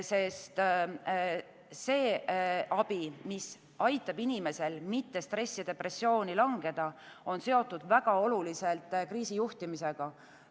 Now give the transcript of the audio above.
Sest see abi, mis ei lase inimesel stressi, depressiooni langeda, on seotud väga oluliselt kriisijuhtimisega.